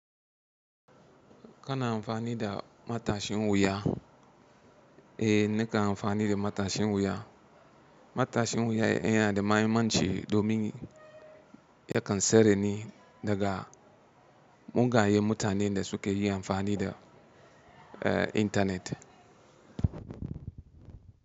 Kana amfani da matashin wuya? Eh, nakan amfani da matashin wuya. Matashin wuya yana da mahimmanci domin yakan tsare ni daga mugayen mutanen da suke yi amfani da, eh, intanet.